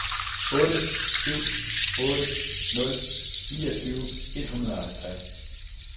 otte syv otte nul niogtyve et hundrede og halvtreds